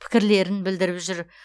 пікірлерін білдіріп жүр